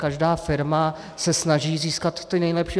Každá firma se snaží získat ty nejlepší.